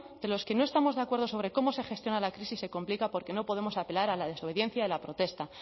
de los que no estamos de acuerdo sobre cómo se gestiona la crisis se complica porque no podemos apelar a la desobediencia de la protesta